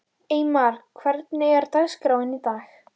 Eymar, hvernig er dagskráin í dag?